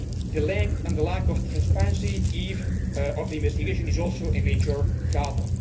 The length and the lack of transparency of the investigation is also a major problem.